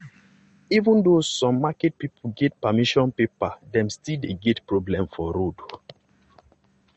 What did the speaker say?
even though some market people get permission paper dem still dey get problem for road.